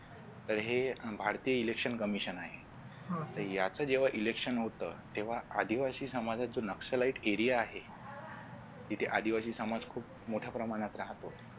तर हे भारतीय election commission आहे तर याच जेव्हा election होतं तेव्हा आदिवासी समाजातून नक्ष लाईट area आहे जिथे आदिवासी समाज खूप मोठ्या प्रमाणात राहतो.